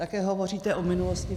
Také hovoříte o minulosti.